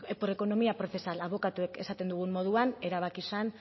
por economía procesal abokatuok esaten dugun moduan erabaki zen